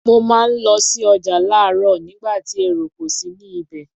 Mo máa ń lọ sí ọjà láròóò nígbà tí èrò kò sí ní ibẹ̀